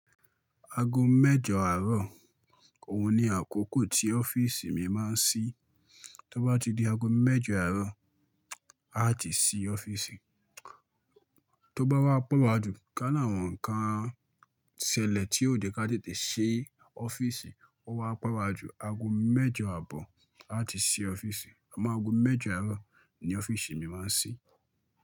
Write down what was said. Ago mẹ́jọ àárọ̀ òun ni àkókò tí ọ́fíìsì mi máa ń sí. Tí ó bá ti di ago mẹ́jọ àárọ̀, a ti ṣí ọ́fíìsì. Tí ó bá wá pe wájú, ká náà àwọn nǹkan ṣẹlẹ̀ tí ò jẹ́ kí a tètè ṣí ọ́fíìsì, ó wá pe wájú, ago mẹ́jọ àbọ̀ a ti ṣí ọ́fíìsì. Amọ ago mẹ́jọ àárọ̀ ni ọ́fíìsì mi máa ń ṣí.